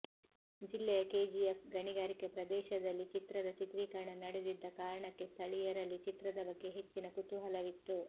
ಜಿಲ್ಲೆಯ ಕೆಜಿಎಫ್ನ ಗಣಿಗಾರಿಕೆ ಪ್ರದೇಶದಲ್ಲಿ ಚಿತ್ರದ ಚಿತ್ರೀಕರಣ ನಡೆದಿದ್ದ ಕಾರಣಕ್ಕೆ ಸ್ಥಳೀಯರಲ್ಲಿ ಚಿತ್ರದ ಬಗ್ಗೆ ಹೆಚ್ಚಿನ ಕುತೂಹಲವಿತ್ತು